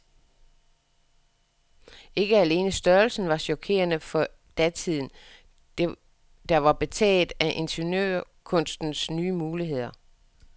Ikke alene størrelsen var chokerende for datiden, der var betaget af ingeniørkunstens nye muligheder.